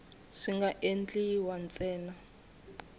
swi nga endliwa ntsena loko